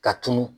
Ka tunun